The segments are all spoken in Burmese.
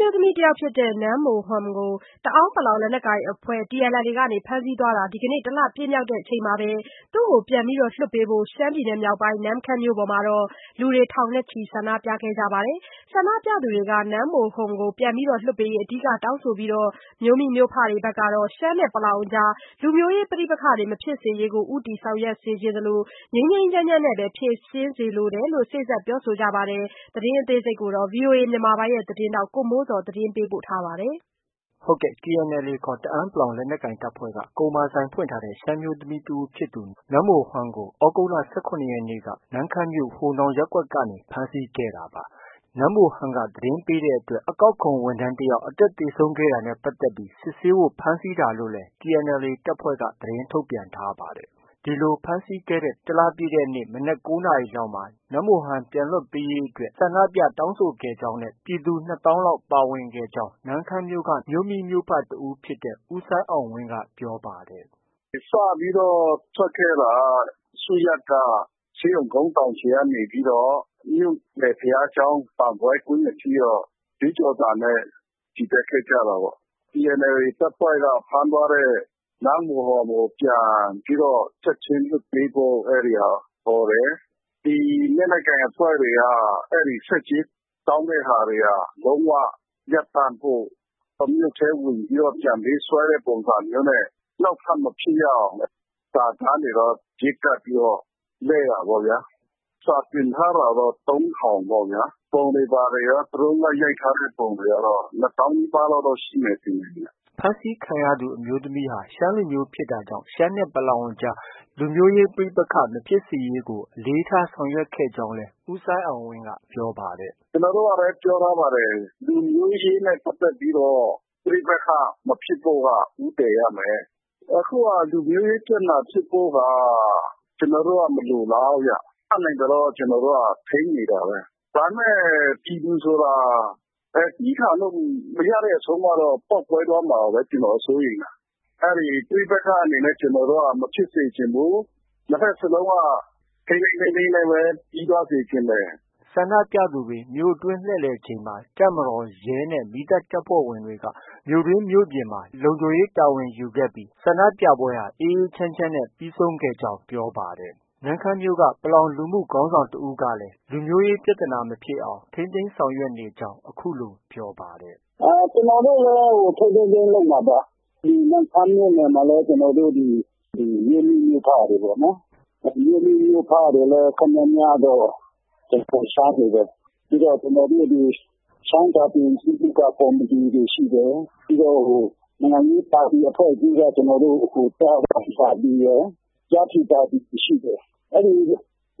မျိုးသမီးတယောက်ဖြစ်တဲ့ နန်းမိုဟွမ်ကို တအာင်း လက်နက်ကိုင်အဖွဲ့ TNLA က ဖမ်းဆီးသွားတာ တစ်လ ပြည့်မြောက်တဲ့နေ့မှာ သူ့ကို ပြန်လွှတ်ပေးဖို့ ရှမ်းပြည်နယ်မြောက်ပိုင်း နမ့်ခမ်းမြို့မှာ ဒီကနေ့ လူ ထောင် နဲ့ ချီပြီး ဆန္ဒြုပခဲ့ပါတယ်။ ဆန္ဒပြသူတွေဟာ နန်းမိုဟွမ်ကို ပြန်လွှတ်ရေး အဓိက တောင်းဆိုပြီး မြို့မိမြို့ဖတွေ ကတော့ ရှမ်းနဲ့ ပလောင်အကြား လူမျိုးရေးပဋိပက္ခမဖြစ်စေရေးကို ဦးတည်ဆောင်ရွက်သလို ငြိမ်းငြိမ်းချမ်းချမ်းနဲ့ ဖြေရှင်းစေလိုကြောင်းလည်း စေ့စပ်ပြောဆိုကြပါတယ်။ ဒီသတင်းကိုတော့ ဗွီအိုအေမြန်မာပိုင်းရဲ့သတင်းထောက် ကိုမိုးဇော် က တင်ပြထားပါတယ်။ TNLAခေါ် တအာင်း လက်နက်ကိုင်တပ်ဖွဲ့က ကုန်မာဆိုင်ဖွင့်ထားတဲ့ ရှမ်းအမျိုးသမီးတဦးဖြစ်သူ နန်းမိုဟွမ်ကို သြဂုတ်လ ၁၇ရက်နေ့က နမ့်ခမ်းမြို့ ဟိုနောင်ရပ်ကွက်ကနေ ဖမ်းဆီးခဲ့တာပါ။ နန်းမိုဟွမ်က သတင်းပေးတဲ့အတွက် အကောက်ခွန်ကောက် ဝန်ထမ်းတယောက် အသက်သေဆုံးခဲ့တာနဲ့ပတ်သက်ပြီး စစ်ဆေးဖို့ ဖမ်းဆီးတာလို့လည်း TNLA တပ်ဖွဲ့က သတင်းထုတ်ပြန်ထားပါတယ်။ ဒီလို ဖမ်းဆီးခဲ့တဲ့ တစ်လပြည့်တဲ့နေ့ မနက် ၉နာရီလောက်မှာ နန်းမိုဟွမ် ပြန်လွှတ်ပေးရေး ဆန္ဒပြ တောင်းဆိုခဲ့ကြောင်း ပြည်သူ ၂သောင်းလောက်ပါဝင်ကြောင်း နမ့်ခမ်းမြို့က မြို့မိမြို့ဖ တစ်ဦးဖြစ်တဲ့ ဦးစိုင်းအောင်ဝင်းက ပြောပါတယ်။ “ စပြီးတော့ ထွက်ခဲ့တာ စုရပ်က ဆေးရုံကုန်းတောင်ခြေကနေပြီးတော့ ဘုရားကျောင်း ဘန်ဘွယ်ကွင်းအထိ တော့ ကြွေးကြော်သံနဲ့ ချီတက်ခဲ့ကြတာပေါ့။ TNLA တပ်ဖွဲ့က ဖမ်းသွားတဲ့ နန်းမိုဟွမ်ကို ပြန်ပြီး ချက်ချင်းလွှတ်ပေးဖို့ အဲဒီဟာ အော်တယ်။ လက်နက်ကိုင်အဖွဲ့တွေက ဆက်ကြေးတောင်းတာတွေ လုံး၀ ရပ်တန့်ဖို့၊ မြို့ထဲဝင်ပြီးတော့ ပြန်ပေးဆွဲတဲ့ ပုံစံမျိုးနဲ့ နောက်ထပ်မဖြစ်ရအောင် စာတမ်းတွေ ပြေးကပ်ပြီးတော့ လှည့်တာပေါ့ဗျ။ စာတင်ထားတာတော့ ၃ထောင် ပုံတွေဘာတွေ ရော၊ Drone ရိုက်ထားတဲ့ပုံတွေအရရော ၂သောင်းလောက်တော့ ရှိမယ်ထင်တယ်ဗျ။ ” ဖမ်းဆီးခံရသူ အမျိုးသမီးဟာ ရှမ်းလူမျိုးဖြစ်တာကြောင့် ရှမ်းနဲ့ ပလောင်အကြား လူမျိုးရေးပဋိပက္ခမဖြစ်စေရေးကို အလေးထား ဆောင်ရွက်ခဲ့ကြောင်းလည်း ဦးစိုင်းအောင်ဝင်းက ပြောပါတယ်။ “ ကျနော်တို့ကလည်း ပြောထားပါတယ်။ လူမျိုးရေးနဲ့ပတ်သက်ပြီးတော့ ပဋိပက္ခမဖြစ်ဖို့က ဦးတည်ရမယ်။ အခုက လူမျိုးရေးပြဿနာဖြစ်ဖို့က ကျနော်တို့က မလိုလားဘူးဗျ။ တတ်နိုင်သလောက်တော့ ထိန်းနေတာပဲ။ ဒါပေမဲ့ ပြည်သူဆိုတာ သည်းခံလို့ မရတဲ့အဆုံးကတော့ ပေါက်ကွဲသွားမှာပဲ ကျနော်တို့က စိုးရိမ်တယ်။ ပဋိပက္ခအနေနဲ့ မဖြစ်စေချင်ဘူး။ နှစ်ဘက်စလုံးက ထိန်းထိန်းသိမ်းသိမ်းနဲ့ပဲ ပြီးသွားစေချင်တယ်။” ဆန္ဒသူတွေ မြို့အတွင်း လှည့်လည်နေချိန်မှာ တပ်မတော်၊ ရဲနဲ့ မီးသတ်တပ်ဖွဲ့ဝင်တွေက မြို့တွင်း၊ မြို့ပြင်မှာ လုံခြုံရေးတာဝန်ယူခဲ့ပြီး ဆန္ဒပြပွဲဟာအေးအေးချမ်းချမ်းနဲ့ ပြီးဆုံးခဲ့ကြောင်း ပြောပါတယ်။ နမ့်ခမ်းမြို့က ပလောင်လူမှုခေါင်းဆောင်တစ်ဦးကလည်း လူမျိုးရေး ပြဿနာ မဖြစ်အောင် ထိန်းသိမ်းဆောင်ရွက်နေကြောင်း အခုလို ပြောပါတယ်။ “ ကျနော်တို့လည်း ထိန်းထိန်းသိမ်းသိမ်းလုပ်မှာပါ။ ဒီနမ့်ခမ်းမြို့နယ်မှာလည်း ကျနော်တို့ ဒီ မြို့မိမြို့ဖတွေပေါ့နော်။ မြို့မိမြို့ဖတွေလည်း တော်တော်များများတော့ ရှမ်းတွေပဲ။ ပြီးတော့ ကျနော်တို့ ဒီ ရှမ်းစာပေယဉ်ကျေးမှုက ကော်မတီတွေ ရှိတယ်။ နိုင်ငံရေး ပါတီအဖွဲ့အစည်းက ကျနော်တို့ ကျားခေါင်းပါတီရယ်၊ ကျားဖြူပါတီရယ် ရှိတယ်။ အဲဒီ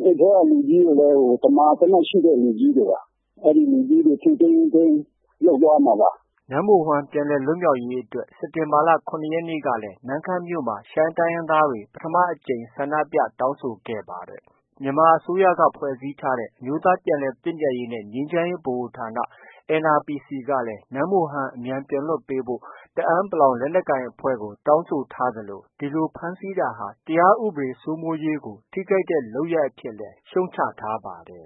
ထဲက လူကြီးတွေလည်း သမာသမတ်ရှိတဲ့ လူကြီးတွေပါ။ အဲဒီလူကြီးတွေ ထိန်းထိန်းသိမ်းသိမ်းလုပ်သွားမှာပါ။ ” နမ်မိုဟွမ်ပြန်လည်လွတ်မြောက်ရေးအတွက် စက်တင်ဘာလ ၇ရက်နေ့ကလည်း နမ့်ခမ်းမြို့မှာ ရှမ်းတိုင်းရင်းသားတွေ ပထမအကြိမ် ဆန္ဒပြတောင်းဆိုခဲ့ပါတယ်။ မြန်မာအစိုးရက ဖွဲ့စည်းထားတဲ့ အမျိုးသားပြန်လည်သင့်မြတ်ရေးနဲ့ ငြိမ်းချမ်းရေး ဗဟိုဌာန NRPC ကလည်း နန်းမိုဟွမ်ကို အမြန်လွှတ်ပေးဖို့ တအာင်း လက်နက်ကိုင်အဖွဲ့ကို တောင်းဆိုထားသလို ဒီလို ဖမ်းဆီးတာဟာ တရား ဥပဒေစိုးမိုးရေးကို ထိခိုက်တဲ့ လုပ်ရပ်အဖြစ်လည်း ရှုတ်ချ ထားပါတယ်